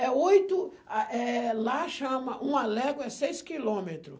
É oito, ah eh... Lá chama... Uma légua é seis quilômetro.